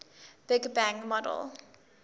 big bang model